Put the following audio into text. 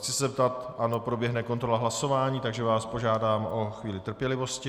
Chci se zeptat, ano, proběhne kontrola hlasování, takže vás požádám o chvíli trpělivosti.